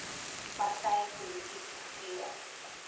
party polities gekleurd